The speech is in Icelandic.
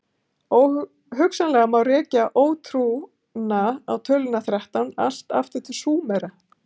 Hugsanlega má rekja ótrúna á töluna þrettán allt aftur til Súmera.